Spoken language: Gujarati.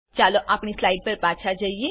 ચાલો આપણી સ્લાઈડ પર પાછા જઈએ